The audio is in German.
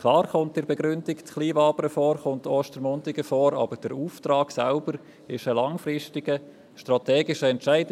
Klar, werden Kleinwabern und Ostermundigen in der Begründung erwähnt, aber der Auftrag selbst ist ein langfristiger, strategischer Entscheid.